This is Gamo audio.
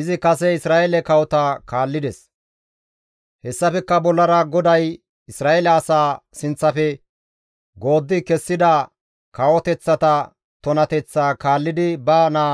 Izi kase Isra7eele kawota kaallides; hessafekka bollara GODAY Isra7eele asaa sinththafe gooddi kessida kawoteththata tunateththaa kaallidi ba naa